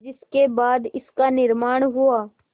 जिसके बाद इसका निर्माण हुआ